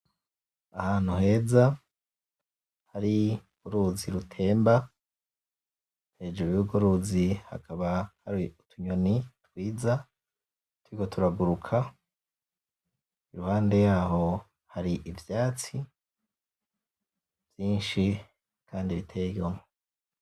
Ahantu heza, hari uruzi rutemba, hejuru yurwo ruzi hakaba hari utunyoni twiza turiko turaguruka , iruhande yaho hari ivyatsi vyinshi kandi biteye igomwe.